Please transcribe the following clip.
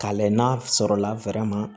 K'a layɛ n'a sɔrɔ la ma